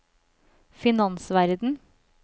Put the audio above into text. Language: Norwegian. finansverden